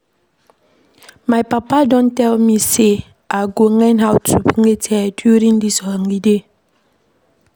My papa don tell me say I go learn how to plait hair during dis holiday